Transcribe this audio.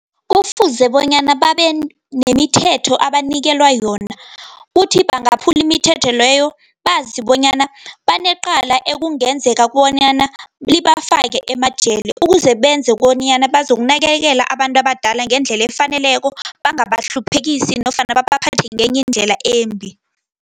Kufuze bonyana babenemithetho abanikelwa yona, kuthi bangaphuli imithetho leyo. Bazi bonyana banecala ekungenzeka bonyana, libafake emajele, ukuze benze bonyana bazokunakekela abantu abadala ngendlela efaneleko, bangabahluphekisi nofana baphathe ngenye indlela embi.